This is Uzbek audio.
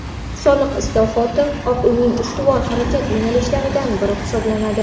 Soliq islohoti Oq Uyning ustuvor harakat yo‘nalishlaridan biri hisoblanadi.